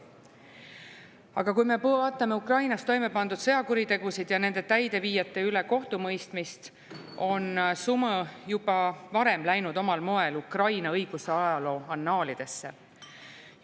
Aga kui me vaatame Ukrainas toime pandud sõjakuritegusid ja nende täideviijate üle kohtumõistmist, on Sumõ juba varem läinud omal moel Ukraina õigusajaloo annaalidesse.